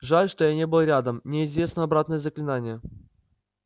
жаль что я не был рядом мне известно обратное заклинание